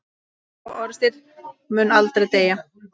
Sá orðstír mun aldrei deyja.